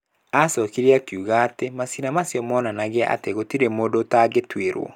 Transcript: Aacokire akiuga atĩ maciira macio monanagia atĩ gũtirĩ mũndũ ũtangĩtuĩrwo.